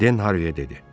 Den Harviyə dedi: